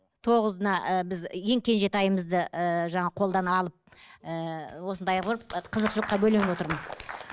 тоғызына ііі біз ең кенжетайымызды ііі жаңа қолдан алып ііі осындай құрып қызықшылыққа бөленіп отырмыз